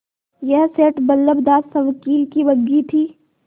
यह सेठ बल्लभदास सवकील की बग्घी थी